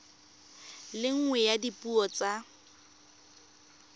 le nngwe ya dipuo tsa